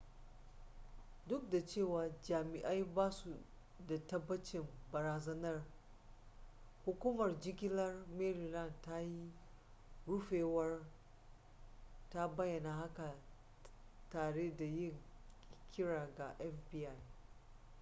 duk da cewa jami'ai basu da tabbacin barazanar hukumar jigilar maryland ta yi rufewar ta bayyana haka tare da yin kira ga fbi